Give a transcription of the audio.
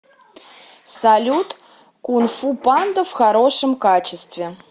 салют кунфу панда в хорошем качестве